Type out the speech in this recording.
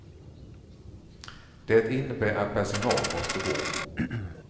Det innebär att personal måste gå.